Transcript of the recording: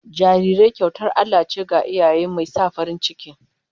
Jarirai kyautar Allah ce ga iyaye, mai sa farin ciki